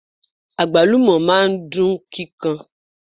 Agbalumo máa ń dun kíkan.